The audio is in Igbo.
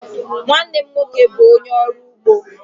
Nwanne m nwoke bụ ónyé ọrụ ụgbọ.